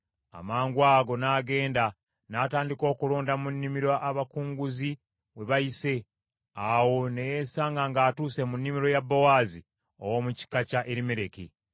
Amangwago, n’agenda, n’atandika okulonda mu nnimiro abakunguzi we bayise. Awo ne yesanga ng’atuuse mu nnimiro ya Bowaazi, ow’omu kika kya Erimereki.